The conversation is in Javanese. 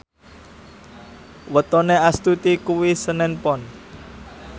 wetone Astuti kuwi senen Pon